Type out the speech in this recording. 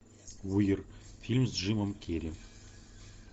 фильм с джимом керри